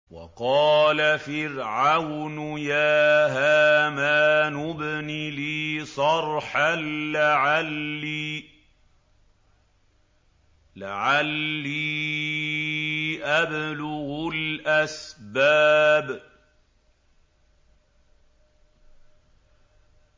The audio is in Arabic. وَقَالَ فِرْعَوْنُ يَا هَامَانُ ابْنِ لِي صَرْحًا لَّعَلِّي أَبْلُغُ الْأَسْبَابَ